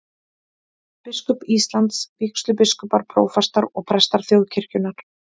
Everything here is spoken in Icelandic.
Biskup Íslands, vígslubiskupar, prófastar og prestar þjóðkirkjunnar.